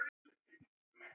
Þetta nafn: hvað var það?